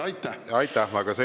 Aitäh!